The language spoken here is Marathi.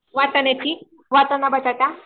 वाटण्याची, वाटाणा बटाटा.